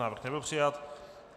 Návrh nebyl přijat.